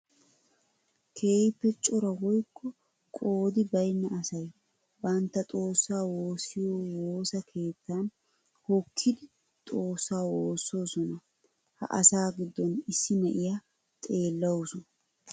Keehippe cora woykko qoodi baynna asay bantta xoosa woosiyo woosa keettan hokkiddi xoosa woososonna. Ha asaa gidon issi na'iya xeellawussu.